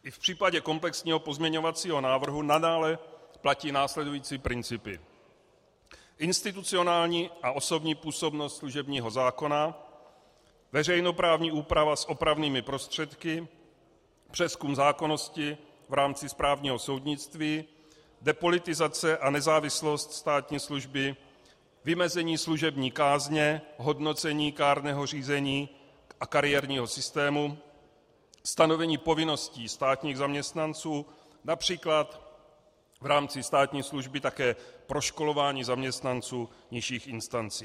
I v případě komplexního pozměňovacího návrhu nadále platí následující principy: institucionální a osobní působnost služebního zákona, veřejnoprávní úprava s opravnými prostředky, přezkum zákonnosti v rámci správního soudnictví, depolitizace a nezávislost státní služby, vymezení služební kázně, hodnocení kárného řízení a kariérního systému, stanovení povinností státních zaměstnanců, například v rámci státní služby také proškolování zaměstnanců nižších instancí.